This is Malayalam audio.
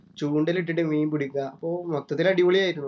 ചൂണ്ടയിലിട്ടിട്ട് മീൻ പിടിക്കാ. അപ്പോ മൊത്തത്തിൽ അടിപൊളിയായിരുന്നു.